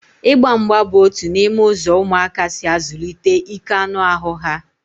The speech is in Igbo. Ịgba mgba bụ otu n'ime ụzọ ụmụaka si azụlite ike anụ ahụ ha